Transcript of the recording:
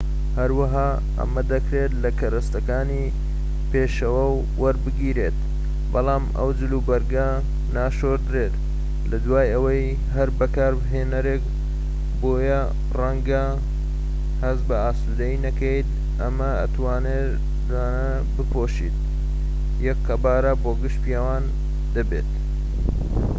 هەروەها ئەمە دەکرێت لە کەرەستەکانی پێشەوە وەربگیرێن بەڵام ئەو جل وبەرگە ناشۆردرێت لە دوای ئەوەی هەر بەکارهێنەرێک بۆیە ڕەنگە هەست بە ئاسودەیی نەکەیت ئەم تەنورانە بپۆشیت یەک قەبارە بۆ گشت پیاوان دەبێت